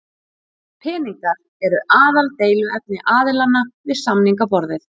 Peningar eru aðaldeiluefni aðilanna við samningaborðið